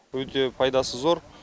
өте пайдасы зор